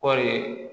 Kɔɔri